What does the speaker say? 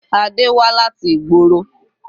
Adé wá láti ìgboro.